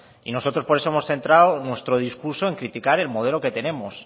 y por eso nosotros hemos centrado nuestro discurso en criticar el modelo que tenemos